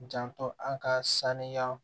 Janto an ka sanuya